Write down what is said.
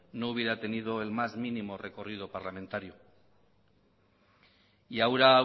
no hubiera tenido el más mínimo recorrido parlamentario y ahora